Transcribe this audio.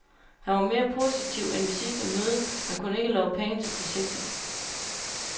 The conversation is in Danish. Han var mere positiv end ved sidste møde, men kunne ikke love penge til projektet.